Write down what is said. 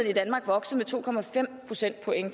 i danmark vokset med to procentpoint